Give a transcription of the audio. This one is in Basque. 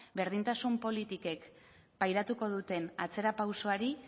berdintasun politikek pairatuko duten atzera pausoari